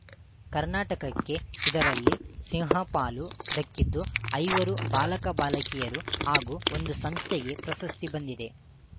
ಕರ್ನಾಟಕಕ್ಕೆ ಇದರಲ್ಲಿ ಸಿಂಹಪಾಲು ದಕ್ಕಿದ್ದು ಐವರು ಬಾಲಕಬಾಲಕಿಯರು ಹಾಗೂ ಒಂದು ಸಂಸ್ಥೆಗೆ ಪ್ರಶಸ್ತಿ ಬಂದಿದೆ